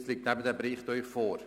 Nun liegt dieser Bericht vor.